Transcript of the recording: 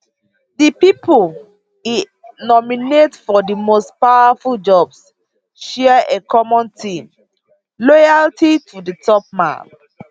di pipo e nominate for di most powerful jobs share a common theme loyalty to di top man